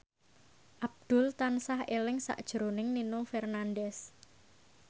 Abdul tansah eling sakjroning Nino Fernandez